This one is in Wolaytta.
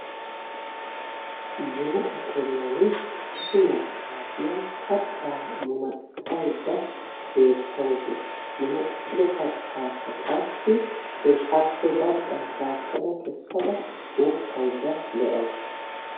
Munaqa keriyan issi maccaasiya kattaa munaqqayidda beettawusu. Munaqqido kattaakka qassi appe baggaa shaakkada kessada uukkayidda de'awusu.